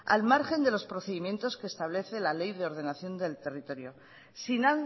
al margen de los procedimientos que establece la ley de ordenación del territorio sin